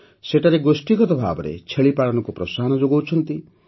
ସେମାନେ ଗୋଷ୍ଠୀଗତ ଭାବେ ଛେଳି ପାଳନକୁ ପ୍ରୋତ୍ସାହନ ଦେଉଛନ୍ତି